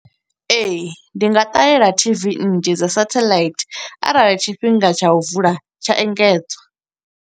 Ee, ndi nga ṱalela tv nnzhi dza setheḽaithi, arali tshifhinga tsha u vula tsha engedzwa.